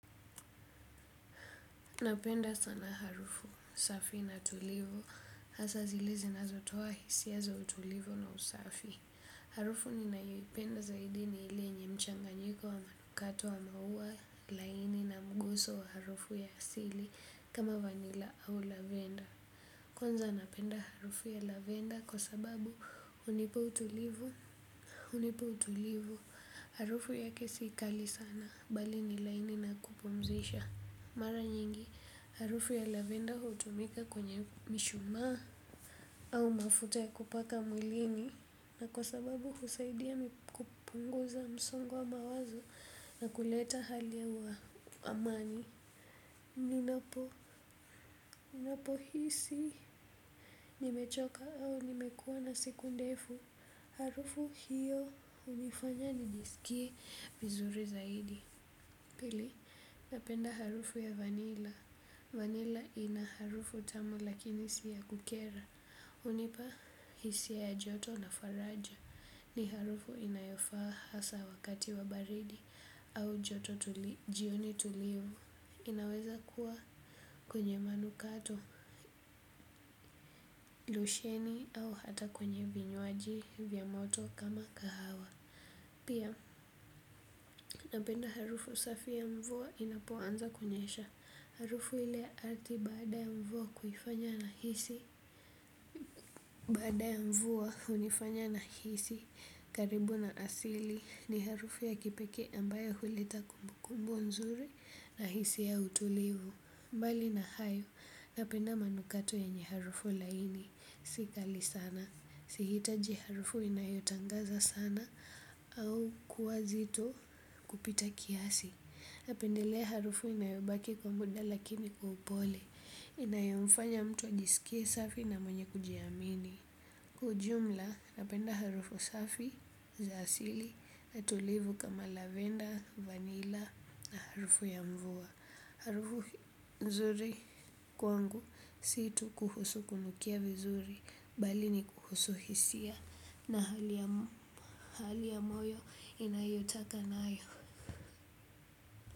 Napenda sana harufu safi na tulivu, hasa zile zinazotoa hisia za utulivu na usafi. Harufu ninayoipenda zaidi ni ili yenye mchanganyiko wa manukato wa maua laini na mguso wa harufu ya asili kama vanila au lavender. Kwanza napenda harufu ya lavender kwa sababu hunipa utulivu harufu yake si kali sana bali ni laini na ya kupumzisha. Mara nyingi harufu ya lavender hutumika kwenye mishumaa au mafuta ya kupaka mwilini na kwa sababu husaidia kupunguza msongo wa mawazo na kuleta hali ya wa amani. Ninapo, ninapohisi, nimechoka au nimekuwa na siku ndefu, harufu hiyo hunifanya nijisikie vizuri zaidi Pili, napenda harufu ya vanila. Vanila ina harufu tamu lakini si ya kukera. Hunipa hisia ya joto na faraja ni harufu inayofaa hasa wakati wa baridi au joto jioni tulivu. Inaweza kuwa kwenye manukato, lusheni au hata kwenye vinywaji vya moto kama kahawa. Pia, napenda harufu safi ya mvuwa inapoanza kunyesha harufu ile ardhi baada ya mvua kufanya nahisi karibu na asili ni harufu ya kipekee ambayo huleta kumbukumbu nzuri na hisia ya utulivu mbali na hayo, napenda manukato yenye harufu laini. Si kali sana. Si hitaji harufu inayotangaza sana au kuwa zito kupita kiasi. Napendelea harufu inayobaki kwa muda lakini kwa upole. Inayomfanya mtu ajisikie safi na mwenye kujiamini. Kwa ujumla, napenda harufu safi za asili na tulivu kama lavender, vanilla na harufu ya mvua. Harufu nzuri kwangu si tu kuhusu kunukia vizuri bali ni kuhusu hisia na hali ya moyo inayotaka nayo.